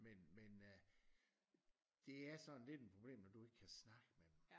Men øh det er sådan lidt en problem når du ikke kan snakke med dem